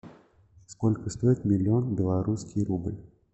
сколько стоит миллион белорусский рубль